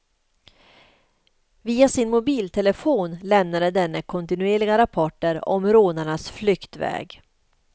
Via sin mobiltelefon lämnade denne kontinuerliga rapporter om rånarnas flyktväg.